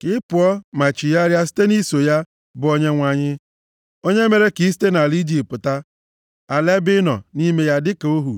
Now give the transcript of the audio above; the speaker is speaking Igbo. ka ị pụọ, ma chigharịa site nʼiso ya, bụ Onyenwe anyị, onye mere ka i site nʼala Ijipt pụta, ala ebe ị nọ nʼime ya dịka ohu.